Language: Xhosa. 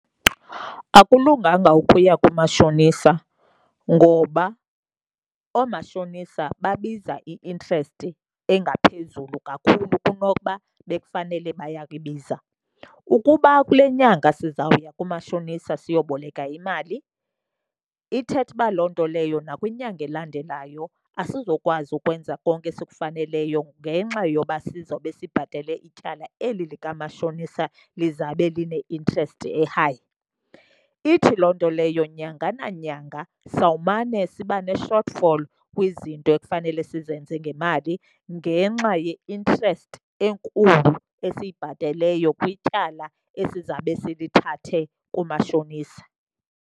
Akulunganga ukuya kumashonisa ngoba oomashonisa babiza i-interest engaphezulu kakhulu kunokuba bekufanele bayayibiza. Ukuba kule nyanga sizawuya kumashonisa siyoboleka imali, ithetha uba loo nto leyo nakwinyanga elandelayo asizokwazi ukwenza konke esikufaneleyo ngenxa yoba sizobe sibhatele ityala eli likamashonisa lizabe line-interest e-high. Ithi loo nto leyo nyanga nanyanga sawumane siba ne-short fall kwizinto ekufanele sizenze ngemali ngenxa ye-interest enkulu esiyibhateleyo kwityala esizabe silithathe kumashonisa.